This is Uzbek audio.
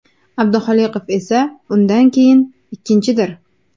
Abduxoliqov esa undan keyin ikkinchidir.